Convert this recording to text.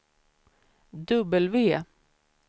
W